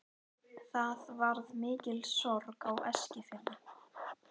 Það varð mikil sorg á Eskifirði.